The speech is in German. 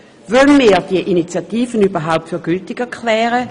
Wollen wir die Initiative überhaupt für gültig erklären?